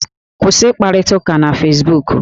Kwụsị ịkparịta ụka na fesbuku!